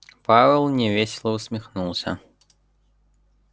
пауэлл невесело усмехнулся